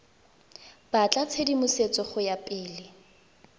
batla tshedimosetso go ya pele